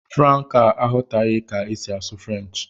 Franca aghọtaghị ka esi asụ French